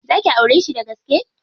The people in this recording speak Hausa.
Za ki aureshi dagaske?